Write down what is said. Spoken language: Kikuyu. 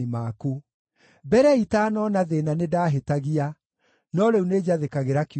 Mbere itanoona thĩĩna nĩndahĩtagia, no rĩu nĩnjathĩkagĩra kiugo gĩaku.